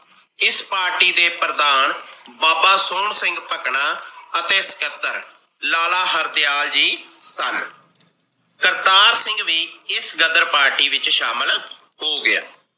ਇਸ party ਦੇ ਪ੍ਰਧਾਨ ਬਾਬਾ ਸੋਹਣ ਸਿੰਘ ਪਕਣਾ ਅਤੇ ਪਚੱਤਰ ਲਾਲਾ ਹਰਦਿਆਲ ਜੀ ਸਨ। ਕਰਤਾਰ ਸਿੰਘ ਵੀ ਇਸ ਗ਼ਦਰ party ਵਿੱਚ ਸ਼ਾਮਿਲ ਹੋ ਗਿਆ।